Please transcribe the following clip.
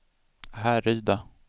Härryda